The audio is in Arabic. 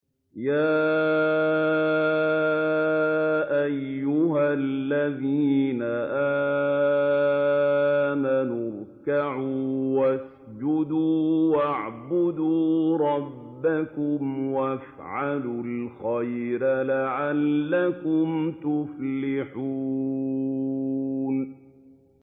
يَا أَيُّهَا الَّذِينَ آمَنُوا ارْكَعُوا وَاسْجُدُوا وَاعْبُدُوا رَبَّكُمْ وَافْعَلُوا الْخَيْرَ لَعَلَّكُمْ تُفْلِحُونَ ۩